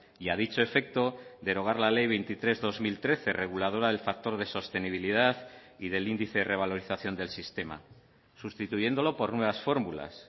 y a dicho efecto derogar la ley veintitrés barra dos mil trece reguladora del factor de sostenibilidad y del índice de revalorización del sistema sustituyéndolo por nuevas fórmulas